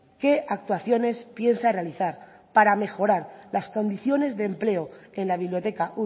qué actuaciones piensa realizar para mejorar las condiciones de empleo en la biblioteca